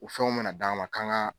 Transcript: U fɛnw mɛna d'an ma kan ka